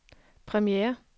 premiere